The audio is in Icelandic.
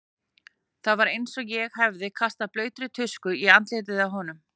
Það var eins og ég hefði kastað blautri tusku í andlitið á honum.